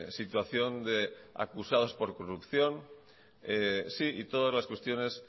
situación de acusados por corrupción y todas las cuestiones